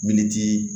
Militi